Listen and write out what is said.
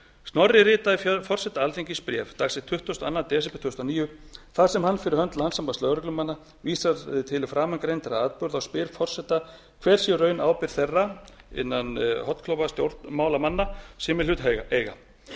snorri ritaði forseta alþingis bréf dagsett tuttugasta og annan desember tvö þúsund og níu þar sem hann fyrir hönd landssambands lögreglumanna vísar til framangreindra atburða og spyr forseta hver sé í raun ábyrgð þeirra stjórnmálamanna sem í hlut eiga